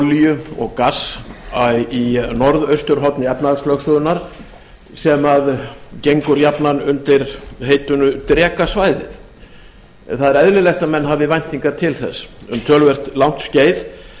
olíu og gass í norðausturhorni efnahagslögsögunnar sem gengur jafnan undir heitinu drekasvæðið það eðlilegt að menn hafi væntingar til þess um töluvert langt skeið þá